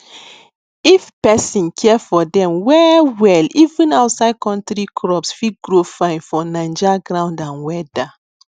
if person care for dem well well even outside country crops fit grow fine for naija ground and weather